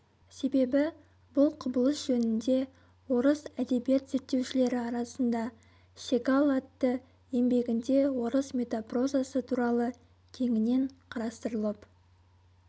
себебі бұл құбылыс жөнінде орыс әдебиет зерттеушілері арасында сегал атты еңбегінде орыс метапрозасы туралы кеңінен қарастырылып